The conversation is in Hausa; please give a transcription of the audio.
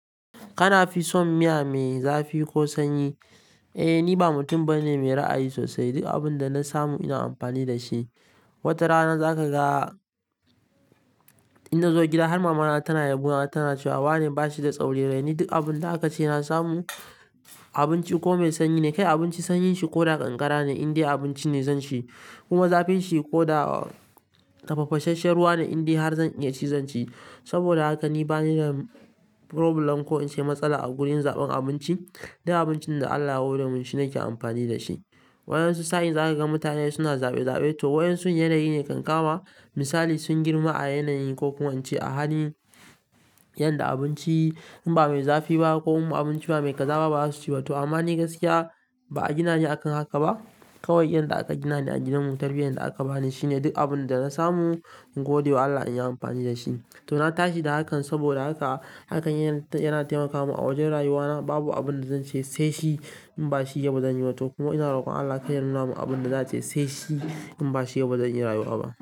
Kana fi son miya mai zafi ko sanyi? Eh, ni ba mutum bane mai ra'ayi sosai. Duk abin da na samu ina amfani da shi. Wata rana za ka ga ina zo gida har mamana tana yabonata tana cewa "wane ba shi da tsaurin rai". Ni duk abin da aka ce na samu abinci komai sanyi ne, kai abinci koda kankara ne ibdai abinci ne zanci, kuma zafinshi koda tafasahen ruwa ne komi zafin shi zanci saboda haka ni bani da problem ko in ce matsala a gurin zaɓan abinci. Duk abincin da Allah ya hore mun shine nake amfani da shi. Waɗansu sa'in za ka ga mutane suna zaɓe zaɓe to waɗansu yanayi ne kan kama misali sun girma a yanayi ko kuma in ce a hali yanda abinci in ba mai zafi ba ko kuma abinci in ba mai ƙaza ba baza su ci ba. To ama ni gaskiya ba a gina ni akan haka ba. Kawai yanda aka gina ni a gidanmu tarbiyyar da aka bani shine duk abin da na samu godewa wa Allah in yi amfani da shi. To na tashi da hakan saboda haka hakan yana taimaka mun a wajen rayuwa na babu abin da zan ce sai shi in ba shi ba zan yi ba to kuma ina roƙon Allah ya karya not na man abin da za ce sai shi in ba shi ba zan iya rayuwa ba.